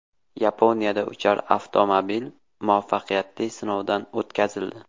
Yaponiyada uchar avtomobil muvaffaqiyatli sinovdan o‘tkazildi .